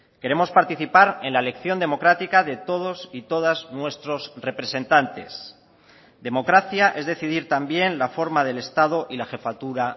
queremos participar en la elección democrática de todos y todas nuestros representantes democracia es decidir también la forma del estado y la jefatura